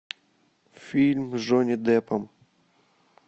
фильм с джонни деппом